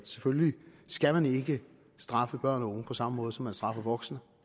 selvfølgelig ikke skal straffe børn og unge på samme måde som man straffer voksne